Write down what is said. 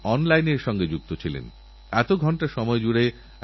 গাছ লাগানোর এক জনআন্দোলন সহজ ভাবে তৈরি হতে পারে